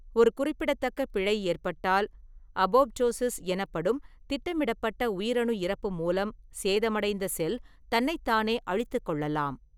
ஒரு குறிப்பிடத்தக்க பிழை ஏற்பட்டால், அபோப்டோசிஸ் எனப்படும் திட்டமிடப்பட்ட உயிரணு இறப்பு மூலம் சேதமடைந்த செல் தன்னைத்தானே அழித்துக் கொள்ளலாம்.